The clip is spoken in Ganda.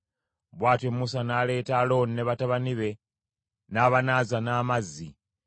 Bw’atyo Musa n’aleeta Alooni ne batabani be n’abanaaza n’amazzi.